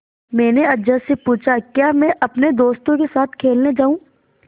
मैंने अज्जा से पूछा क्या मैं अपने दोस्तों के साथ खेलने जाऊँ